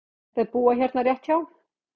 Þau búa hérna rétt hjá.